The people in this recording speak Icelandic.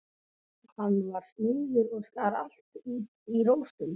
Hann var smiður og skar allt út í rósum.